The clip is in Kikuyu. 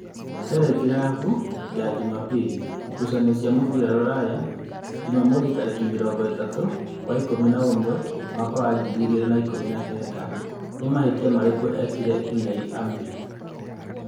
(Terengirabu ya Jumabiri) Ngucanio cia mũbira Ruraya Jumamothi tarĩki mĩrongo-ĩtatũ wa ikũmi na ũmwe mwaka wa ngiri igĩrĩ na ikũmi na kenda. Nĩ mahĩtia marĩkũ ekire Unei Emiri?